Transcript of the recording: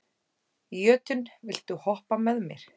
Jötunn, viltu hoppa með mér?